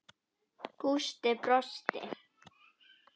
Gústi brosti.